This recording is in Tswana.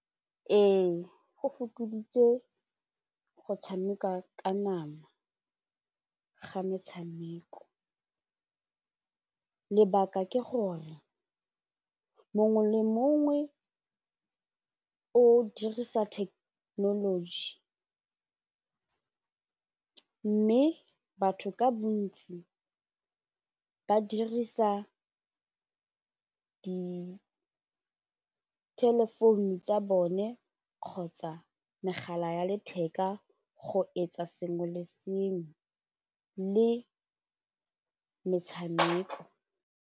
Ee go fokoditse go tshameka ka nama ga metshameko, lebaka ke gore mongwe le mongwe o dirisa thekenoloji mme batho ka bontsi ba dirisa di-telephone tsa bone kgotsa megala ya letheka go etsa sengwe le sengwe le metshameko.